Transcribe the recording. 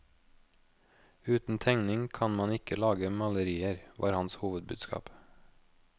Uten tegning kan man ikke lage malerier, var hans hovedbudskap.